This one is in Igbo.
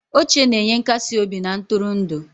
Oche na-enye nkasi obi na ntụrụndụ.